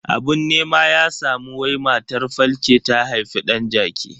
Abun nema ya samu wai matar falke ta haifi dan jaki.